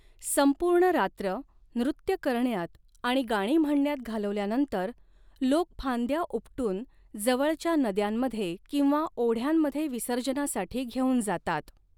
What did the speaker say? संपूर्ण रात्र नृत्य करण्यात आणि गाणी म्हणण्यात घालवल्यानंतर, लोक फांद्या उपटून जवळच्या नद्यांमध्ये किंवा ओढ्यांमध्ये विसर्जनासाठी घेऊन जातात.